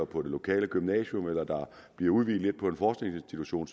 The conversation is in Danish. på det lokale gymnasium eller der bliver udvidet lidt på en forskningsinstitution